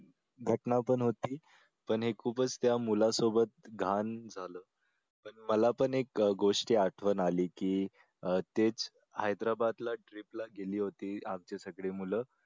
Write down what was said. घटना पण होती पण हे खूपच त्या मुलासोबत घाण झालं. मला पण एक गोष्टीची आठवण आली कि ते हैद्राबादला trip ला गेले होती आमची सगळी मूळ